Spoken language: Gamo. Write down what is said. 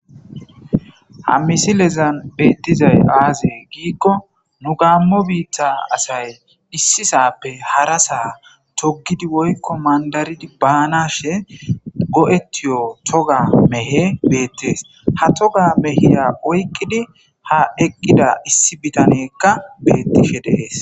Ha misilezan beetizay aaze gikon nu gamo bitta asati issi sappe hara sa togidi woyko mandarid banashn go'etiyo toga mehey betes, ha toga mehiya oyqid ha eqida issi bitaneyka beetishe de'es.